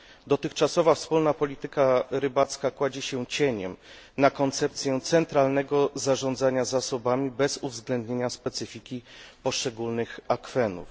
Dotychczasowa wspólna polityka rybacka kładzie się cieniem na koncepcję centralnego zarządzania zasobami bez uwzględnienia specyfiki poszczególnych akwenów.